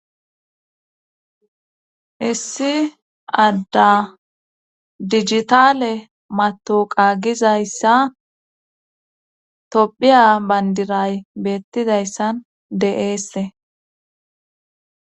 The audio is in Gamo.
issi adda dijitale matoqa gizayssa tophiya bandiray beettidayssan de7eesse